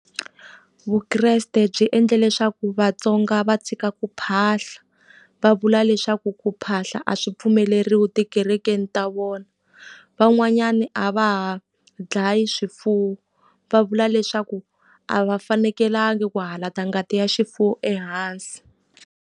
Vukreste byi endle leswaku Vatsonga va tshika ku phahla, va vula leswaku ku phahla a swi pfumeleriwi tikerekeni ta vona. Van'wanyana a va ha dlaya swifuwo, va vula leswaku a va fanekelanga ku hala ta ngati ya xifuwo ehansi.